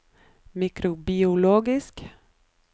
mikrobiologisk